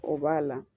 O b'a la